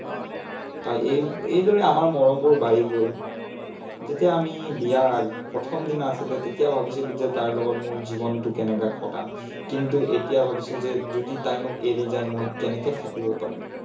তাই এই এইদৰেই আমাৰ মৰমবোৰ বাঢ়ি গল। যেতিয়া আমি বিয়াৰ আগ প্ৰথমদিনা আছিলে, তেতিয়া ভাবিছিলো যে তাইৰ লগত মই জীৱনটচো কেনেকে কটাম? কিন্তু এতিয়া ভাবিছো যে যদি তাই মোক এৰি যায়, মই কেনেকৈ থাকিব পাৰিম।